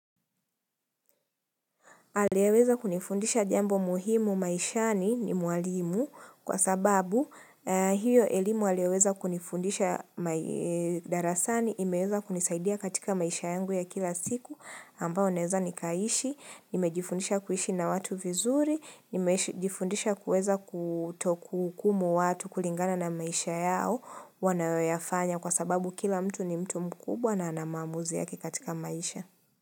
Aliyeweza kunifundisha jambo muhimu maishani ni mwalimu kwa sababu hiyo elimu aliyoweza kunifundisha darasani, imeweza kunisaidia katika maisha yangu ya kila siku, ambao neweza nikaishi, nimejifundisha kuishi na watu vizuri, nimejifundisha kuweza kutokuhukumu watu kulingana na maisha yao, wanayoyafanya kwa sababu kila mtu ni mtu mkubwa na anamamuzi yake katika maisha.